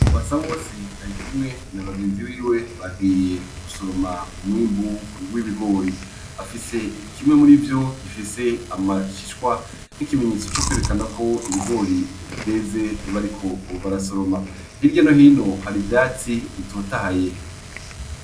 Masa bose ari kumwe nabagenzi biwe bagiye gusoroma umwimbu w'ibigori afise ikimwe muri vyo gifise amashishwa n'ikimenyetso co kwerekana kwo ibigori vyeze bariko obarasoroma hirya no hino hari ivyatsi bitotahaye.